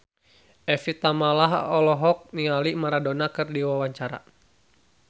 Evie Tamala olohok ningali Maradona keur diwawancara